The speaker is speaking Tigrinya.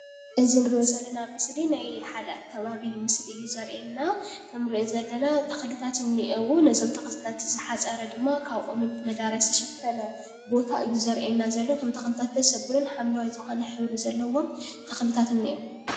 እዚ እንርእዮ ዘለና ምስሊ ናይ ሓደ ኣከባቢ ምስሊ እዩ ዘርእየና። ከም እንርእዩ ዘለና ተኽልታት እኒኤው ነዞም ተኽልታት ዝሓፀረ ድማ ካብ ኦምን መዳበርያን ዝተሸፈነ ቦታ እዩ። ዘርእየና ዘሎ እቶም ተኽልታት ደስ ዘብሉን ሓምለዋይ ዝኾነ ሕብሪ ዘለዎም ተኽልታት እኒኤው።